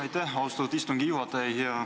Aitäh, austatud istungi juhataja!